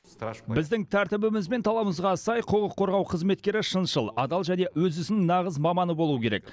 біздің тәртібіміз бен талабымызға сай құқық қорғау қызметкері шыншыл адал және өз ісінің нағыз маманы болуы керек